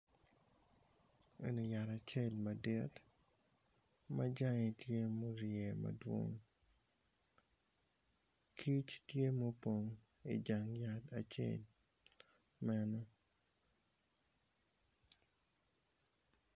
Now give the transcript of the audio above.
Eni yat acel madit majange tye morye madwong kic tye ma opong i jang yat acel meno.